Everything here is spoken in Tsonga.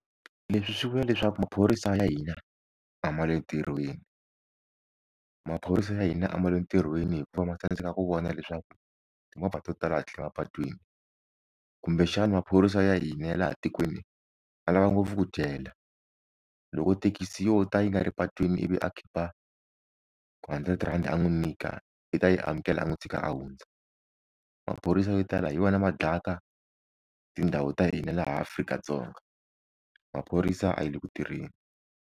Leswi swi vula leswaku maphorisa ya hina a ma le ntirhweni maphorisa ya hina a ma le ntirhweni hikuva ma tsandzeka ku vona leswaku timovha to tala a ti le mapatwini kumbe xana maphorisa ya hina ya laha tikweni ya lava ngopfu ku dyela loko thekisi yo ta yi nga ri patwini ivi a khipha ku hundred rhandi a n'wi nyika i ta yi amukela a n'wi tshika a hundza maphorisa yo tala hi wona ma dlayaka tindhawu ta hina laha Afrika-Dzonga maphorisa a ya le ku tirheni.